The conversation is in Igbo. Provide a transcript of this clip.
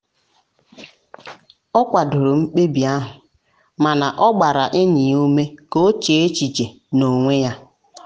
ọ kwadoro mkpebi ahụ mana ọ gbara enyi ya ume ka o chee echiche n'onwe ya.